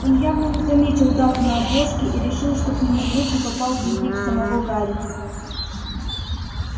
он явно не заметил дату на обложке и решил что к нему в руки попал дневник самого гарри